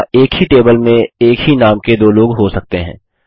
यहाँ एक ही टेबल में एक ही नाम के दो लोग हो सकते हैं